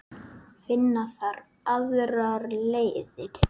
Finna þarf aðrar leiðir.